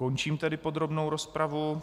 Končím tedy podrobnou rozpravu.